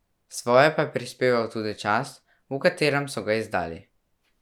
Svoje pa je prispeval tudi čas, v katerem so ga izdali.